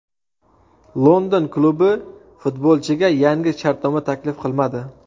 London klubi futbolchiga yangi shartnoma taklif qilmadi.